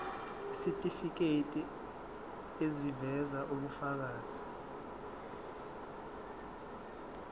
isitifiketi eziveza ubufakazi